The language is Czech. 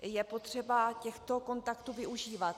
Je potřeba těchto kontaktů využívat.